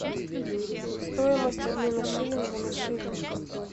стоимость обмена шиллинга на шиллинг